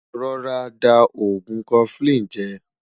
rọ̀rá dà ògún koflin jè